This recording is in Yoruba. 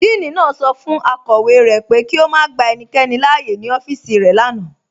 Díìní naá sọ fun akọwe rẹ pé kí o má gbà ènìkẹ́ni láàyè ní ọfíìsì rẹ lánà.